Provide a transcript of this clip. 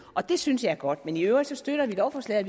og det synes jeg er godt men i øvrigt støtter vi lovforslaget